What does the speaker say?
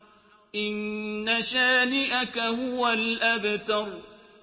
إِنَّ شَانِئَكَ هُوَ الْأَبْتَرُ